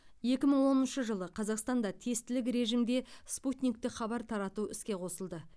екі мың оныншы жылы қазақстанда тестілік режимде спутниктік хабар тарату іске қосылды